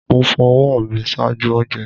Mo fo ọwọ mi ṣaaju ounjẹ